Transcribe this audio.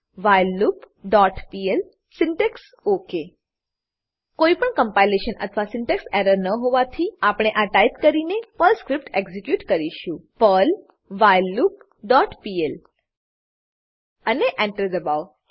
whileloopપીએલ syntax ઓક કોઈપણ compilation અથવા સિન્ટેક્સ એરર ન હોવાથી આપણે આ ટાઈપ કરીને પર્લ સ્ક્રીપ્ટ એક્ઝીક્યુટ કરીશું પર્લ વ્હાઇલલૂપ ડોટ પીએલ અને Enter એન્ટર દબાવો